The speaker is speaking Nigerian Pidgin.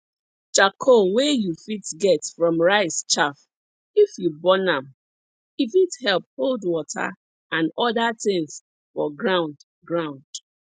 charcoal wey you fit get from rice chaff if you burn am e fit help hold water and oda tins for ground ground